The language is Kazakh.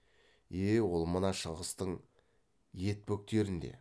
е ол мына шыңғыстың ет бөктерінде